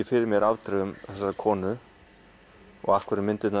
fyrir mér afdrifum þessarar konu og af hverju myndirnar